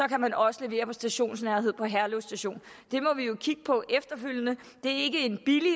kan man også levere stationsnærhed i herlev station det må vi jo kigge på efterfølgende det